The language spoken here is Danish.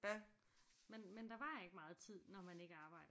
Men men der var ikke meget tid når man ikke arbejdede